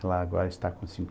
Ela agora está com